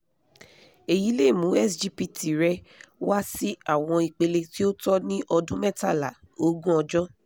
èyí lè mú sgpt rẹ wá sí àwọn ipele tí ó tọ́ ní ọdún mẹ́tàlá-ógún ọjọ́